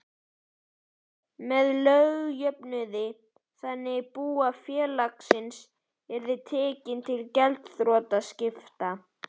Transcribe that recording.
með lögjöfnuði þannig að bú félagsins yrði tekið til gjaldþrotaskipta.